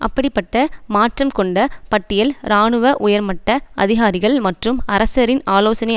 அப்படிப்பட்ட மாற்றம் கொண்ட பட்டியல் இராணுவ உயர்மட்ட அதிகாரிகள் மற்றும் அரசரின் ஆலோசனை